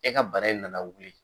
E ka bara in nana wuli